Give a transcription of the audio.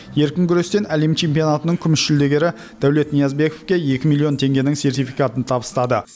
еркін күрестен әлем чемпионатының күміс жүлдегері дәулет ниязбековке екі миллион теңгенің сертификатын табыстады